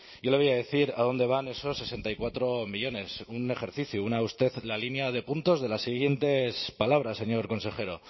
yo le voy a decir a dónde van esos sesenta y cuatro millónes un ejercicio una usted la línea de puntos de las siguientes palabras señor consejero